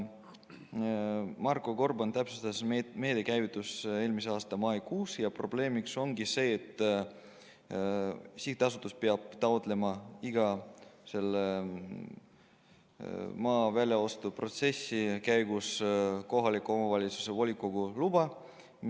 Marko Gorban täpsustas, et meede käivitus eelmise aasta maikuus ja probleemiks ongi see, et sihtasutus peab taotlema iga maa väljaostu protsessi käigus kohaliku omavalitsuse volikogult loa.